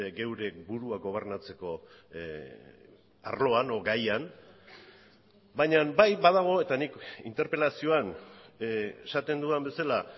geure burua gobernatzeko arloan edo gaian baina bai badago eta nik interpelazioan esaten dudan bezala